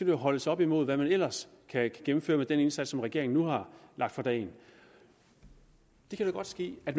jo holdes op imod hvad man ellers kan gennemføre med den indsats som regeringen nu har lagt for dagen det kan da godt ske at